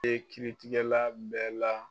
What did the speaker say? E kiritigɛla bɛɛ la.